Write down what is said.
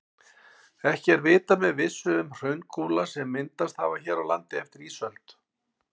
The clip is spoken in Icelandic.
Ekki er vitað með vissu um hraungúla sem myndast hafa hér á landi eftir ísöld.